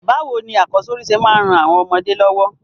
Bàwoni akọ́sórí se máa n ran àwon ọmọdé lọ́wọ́?